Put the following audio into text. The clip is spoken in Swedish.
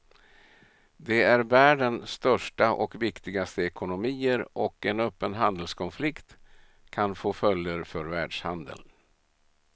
De är världen största och viktigaste ekonomier och en öppen handelskonflikt kan få följder för världshandeln.